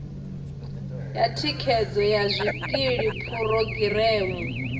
ya thikhedzo ya zwikili phurogireme